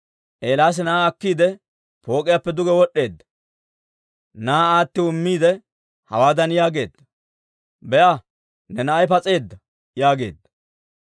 Eelaasi na'aa akkiide pook'iyaappe duge wod'd'eedda; na'aa aatiw immiide hawaadan yaageedda; «Be'a, ne na'ay pas'eedda» yaageedda.